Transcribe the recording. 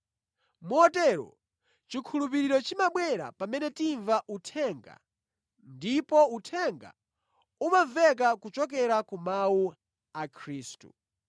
Motero, chikhulupiriro chimabwera pamene timva uthenga ndipo uthenga umamveka kuchokera ku mawu a Khristu.